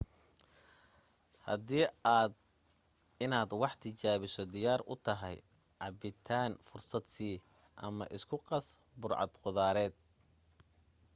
hadii aad inaad wax tijaabiso diyaar u tahay cabbitaan fursad sii ama isku qas burcad qudaareed